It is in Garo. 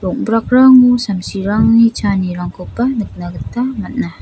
rong·brakrango samsirangni chaanirangkoba nikna gita man·a.